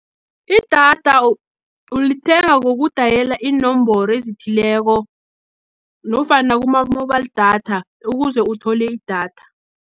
Idatha ulithenga kokudayela iinomboro ezithileko, nofana kuma-mobile datha ukuze uthole idatha.